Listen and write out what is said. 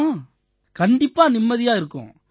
ஆமா கண்டிப்பா நிம்மதியா இருக்கும்